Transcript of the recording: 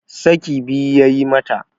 saki biyu ya yi mata